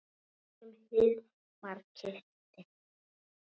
Stelpan sem Hilmar kyssti.